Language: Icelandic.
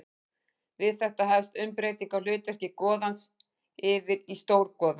Við þetta hefst umbreyting á hlutverki goðans yfir í stórgoða.